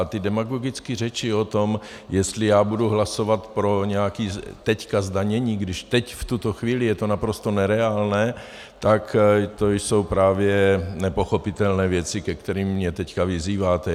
A ty demagogické řeči o tom, jestli já budu hlasovat pro nějaké teď zdanění, když teď v tuto chvíli je to naprosto nereálné, tak to jsou právě nepochopitelné věci, ke kterým mě teď vyzýváte.